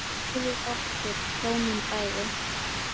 Fyrir okkur hjónin bæði.